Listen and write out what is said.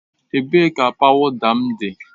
Ebee ka pawuda m dị?